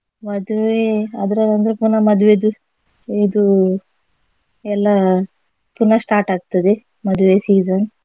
ಮದ್ವೆ ಅದ್ರ ಒಂದು ಪುನಃ ಮದ್ವೆದು ಇದು ಎಲ್ಲಾ ಪುನಃ start ಆಗ್ತದೆ ಮದುವೆ season .